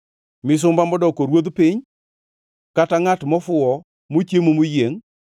misumba modoko ruodh piny, kata ngʼat mofuwo mochiemo moyiengʼ,